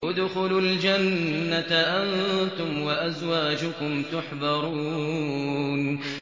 ادْخُلُوا الْجَنَّةَ أَنتُمْ وَأَزْوَاجُكُمْ تُحْبَرُونَ